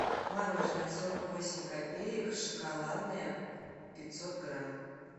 мороженое сорок восемь копеек шоколадное пятьсот грамм